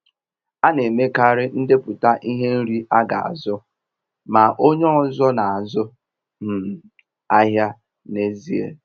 A na-emekarị ndepụta ihe nri aga azu, ma onye ọzọ na-azụ um ahịa n'ezie.